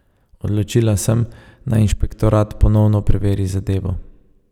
Odločila sem, naj inšpektorat ponovno preveri zadevo.